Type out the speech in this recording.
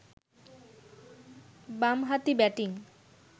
বামহাতি ব্যাটিং